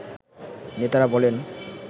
নেতারা বলেন